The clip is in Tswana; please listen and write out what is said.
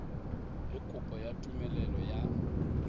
le kopo ya tumelelo ya